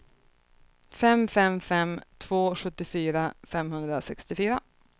fem fem fem två sjuttiofyra femhundrasextiofyra